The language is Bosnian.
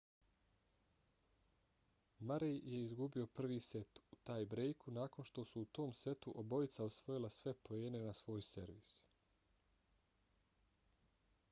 murray je izgubio prvi set u taj-brejku nakon što su u tom setu obojica osvojila sve poene na svoj servis